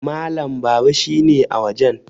Malam Baba shi ne a wajen